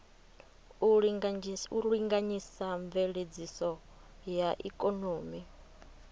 u linganyisa mveledziso ya ikonomi